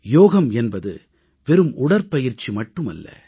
யோகம் என்பது வெறும் உடற்பயிற்சி மட்டுமல்ல